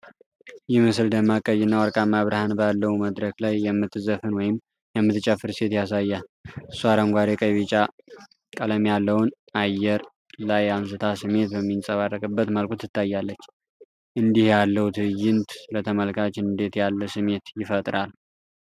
ይህ ምስል ደማቅ ቀይና ወርቃማ ብርሃን ባለው መድረክ ላይ የምትዘፍን ወይም የምትጨፍር ሴት ያሳያል። እሷ አረንጓዴ፣ ቀይና ቢጫ ቀለም ያለውን አየር ላይ አንስታ ስሜት በሚንጸባረቅበት መልኩ ትታያለች። እንዲህ ያለው ትዕይንት ለተመልካች እንዴት ያለ ስሜት ይፈጥራል?